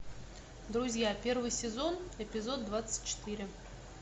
друзья первый сезон эпизод двадцать четыре